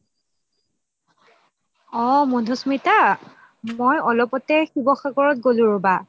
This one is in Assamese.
অহ মাধুস্মিতা মই অলপতে শিৱসাগত গলো ৰবা